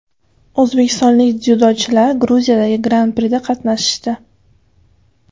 O‘zbekistonlik dzyudochilar Gruziyadagi Gran Prida qatnashdi.